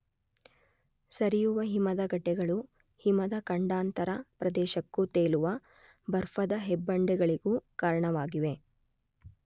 ಸರಿಯುವ ಹಿಮದ ಗಡ್ಡೆಗಳು ಹಿಮದ ಖಂಡಾಂತರ ಪ್ರದೇಶಕ್ಕೂ ತೇಲುವ ಬರ್ಫದ ಹೆಬ್ಬಂಡೆಗಳಿಗೂ ಕಾರಣವಾಗಿವೆ.